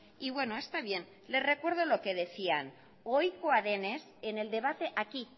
y bueno está bien le recuerdo lo que decían ohikoa denez en el debate aquí